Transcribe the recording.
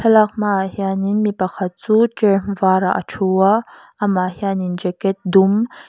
thlalak hma ah hian mipakhat chu cher var ah a thu a a mah hian in jacket dum.